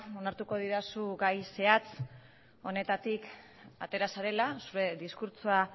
onartuko didazu gai zehatz honetatik atera zarela zure diskurtsoa